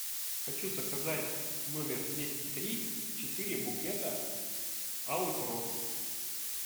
хочу заказать в номер двести три четыре букета алых роз